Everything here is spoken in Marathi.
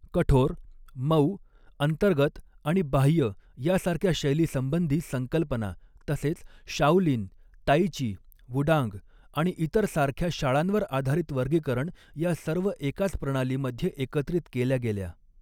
कठोर, मऊ, अंतर्गत आणि बाह्य यासारख्या शैलीसंबंधी संकल्पना, तसेच शाओलिन, ताई ची, वुडांग आणि इतर सारख्या शाळांवर आधारित वर्गीकरण या सर्व एकाच प्रणालीमध्ये एकत्रित केल्या गेल्या.